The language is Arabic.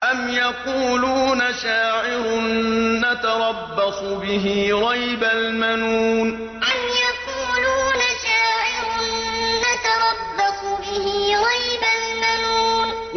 أَمْ يَقُولُونَ شَاعِرٌ نَّتَرَبَّصُ بِهِ رَيْبَ الْمَنُونِ أَمْ يَقُولُونَ شَاعِرٌ نَّتَرَبَّصُ بِهِ رَيْبَ الْمَنُونِ